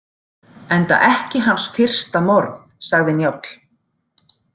Enda ekki hans fyrsta morð, sagði Njáll.